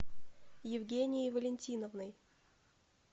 евгенией валентиновной